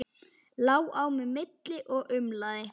Lá á milli og umlaði.